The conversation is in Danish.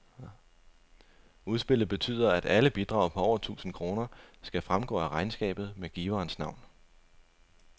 Udspillet betyder, at alle bidrag på over tusind kroner skal fremgå af regnskabet med giverens navn.